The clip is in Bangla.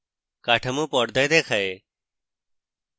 কাঠামো পর্দায় দেখায়